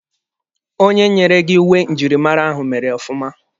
Onye nyere gị uwe njirimara ahụ mere ọfụma.